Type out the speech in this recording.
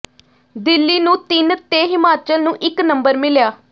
ਦਿੱਲੀ ਨੂੰ ਤਿੰਨ ਤੇ ਹਿਮਾਚਲ ਨੂੰ ਇਕ ਨੰਬਰ ਮਿਲਿਆ